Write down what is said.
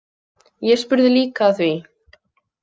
Ég spurði líka að því.